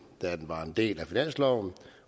da den var en del af finansloven